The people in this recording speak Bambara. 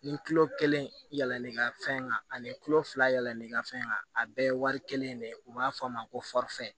Ni kelen yɛlɛnn'i ka fɛn kan ani kulo fila yɛlɛnn'i ka fɛn kan a bɛɛ ye wari kelen de ye u b'a fɔ a ma ko